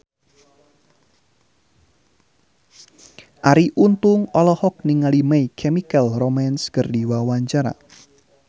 Arie Untung olohok ningali My Chemical Romance keur diwawancara